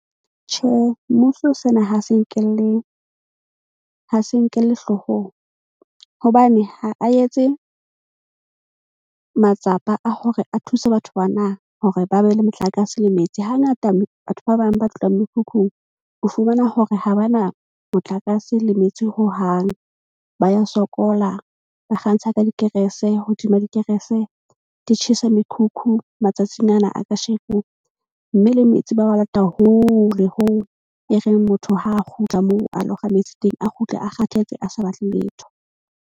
Tjhe, mmuso sena ha se nkelle hloohong hobane ha a etse matsapa a hore a thuse batho bana hore ba be le motlakase le metsi. Hangata batho ba bang ba fihlang mekhukhung o fumana hore ha ba na motlakase le metsi hohang. Ba ya sokola, ba kgantsha ka dikerese hodima dikerese, di tjhesa mekhukhu matsatsing ana a ka sheko. Mme le metsi ba wa lata hole hoo e reng motho ha a kgutla moo, a lo kga metsi teng, a kgutle a kgathetse, a sa batle letho.